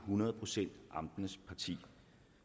hundrede procent